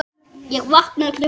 Ég vaknaði klukkan sjö.